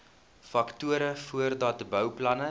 faktore voordat bouplanne